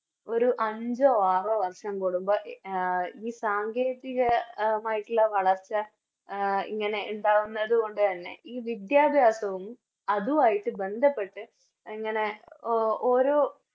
ഒരു അഞ്ചോ ആറോ വർഷം കൂടുമ്പോ എ ഈ സാങ്കേതികമായിട്ടുള്ള വളർച്ച എ ഇങ്ങനെ ഇണ്ടാവുന്നതു കൊണ്ട് തന്നെ ഈ വിദ്യാഭ്യാസവും അതുവായിട്ട് ബന്ധപ്പെട്ട് ഇങ്ങനെ ഓരോ